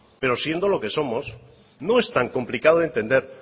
pero siendo lo que somos no es tan complicado de entender